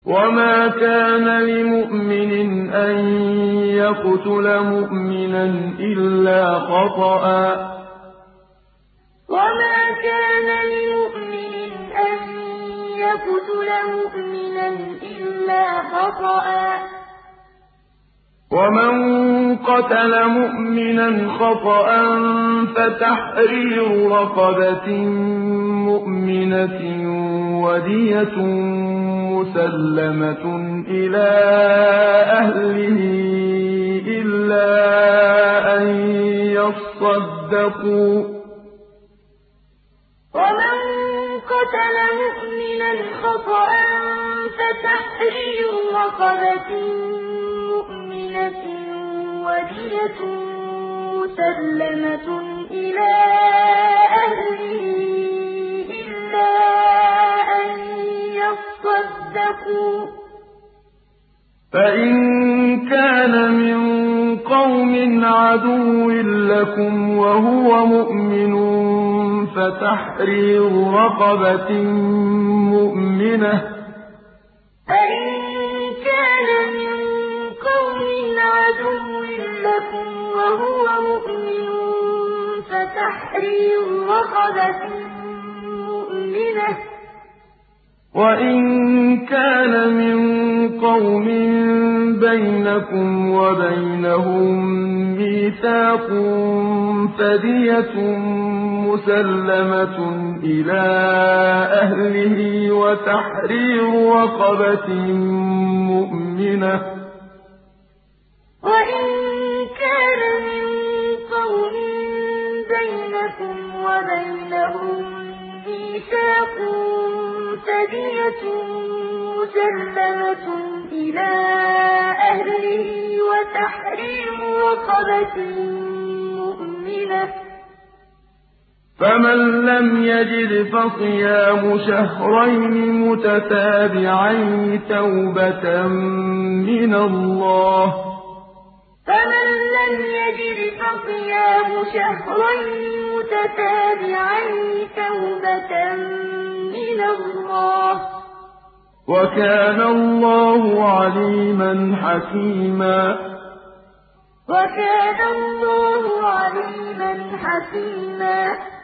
وَمَا كَانَ لِمُؤْمِنٍ أَن يَقْتُلَ مُؤْمِنًا إِلَّا خَطَأً ۚ وَمَن قَتَلَ مُؤْمِنًا خَطَأً فَتَحْرِيرُ رَقَبَةٍ مُّؤْمِنَةٍ وَدِيَةٌ مُّسَلَّمَةٌ إِلَىٰ أَهْلِهِ إِلَّا أَن يَصَّدَّقُوا ۚ فَإِن كَانَ مِن قَوْمٍ عَدُوٍّ لَّكُمْ وَهُوَ مُؤْمِنٌ فَتَحْرِيرُ رَقَبَةٍ مُّؤْمِنَةٍ ۖ وَإِن كَانَ مِن قَوْمٍ بَيْنَكُمْ وَبَيْنَهُم مِّيثَاقٌ فَدِيَةٌ مُّسَلَّمَةٌ إِلَىٰ أَهْلِهِ وَتَحْرِيرُ رَقَبَةٍ مُّؤْمِنَةٍ ۖ فَمَن لَّمْ يَجِدْ فَصِيَامُ شَهْرَيْنِ مُتَتَابِعَيْنِ تَوْبَةً مِّنَ اللَّهِ ۗ وَكَانَ اللَّهُ عَلِيمًا حَكِيمًا وَمَا كَانَ لِمُؤْمِنٍ أَن يَقْتُلَ مُؤْمِنًا إِلَّا خَطَأً ۚ وَمَن قَتَلَ مُؤْمِنًا خَطَأً فَتَحْرِيرُ رَقَبَةٍ مُّؤْمِنَةٍ وَدِيَةٌ مُّسَلَّمَةٌ إِلَىٰ أَهْلِهِ إِلَّا أَن يَصَّدَّقُوا ۚ فَإِن كَانَ مِن قَوْمٍ عَدُوٍّ لَّكُمْ وَهُوَ مُؤْمِنٌ فَتَحْرِيرُ رَقَبَةٍ مُّؤْمِنَةٍ ۖ وَإِن كَانَ مِن قَوْمٍ بَيْنَكُمْ وَبَيْنَهُم مِّيثَاقٌ فَدِيَةٌ مُّسَلَّمَةٌ إِلَىٰ أَهْلِهِ وَتَحْرِيرُ رَقَبَةٍ مُّؤْمِنَةٍ ۖ فَمَن لَّمْ يَجِدْ فَصِيَامُ شَهْرَيْنِ مُتَتَابِعَيْنِ تَوْبَةً مِّنَ اللَّهِ ۗ وَكَانَ اللَّهُ عَلِيمًا حَكِيمًا